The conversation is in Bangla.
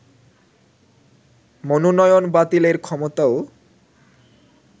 মনোনয়ন বাতিলের ক্ষমতাও